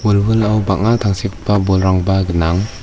wilwilao bang·a tangsekgipa bolrangba gnang.